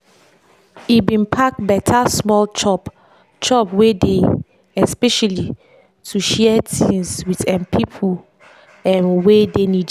e bin pack beta small chop chop wey dey especially to share things with um pipo um wey dey needy.